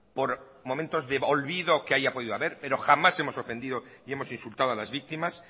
por momentos de olvido que haya podido haber pero jamás hemos ofendido y hemos insultados a las víctimas